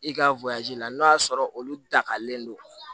I ka la n'o y'a sɔrɔ olu dakalen don